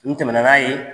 N tɛmɛna n'a ye